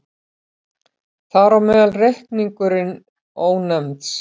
Þar á meðal reikningurinn Ónefnds.